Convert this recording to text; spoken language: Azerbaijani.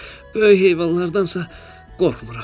Böyük heyvanlardansa qorxmuram.